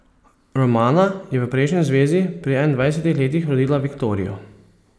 Romana je v prejšnji zvezi pri enaindvajsetih letih rodila Viktorijo.